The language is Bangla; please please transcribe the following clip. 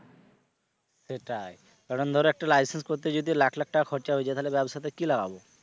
সেটাই কারণ ধর একটা licence করতে যদি লাখ লাখ টাকা খরচা হয়ে যায় তাহলে ব্যবসাতে কি লাগাবো?